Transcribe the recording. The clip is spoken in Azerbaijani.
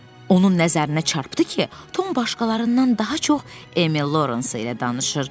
Onun nəzərinə çarpdı ki, Tom başqalarından daha çox Emil Lors ilə danışır.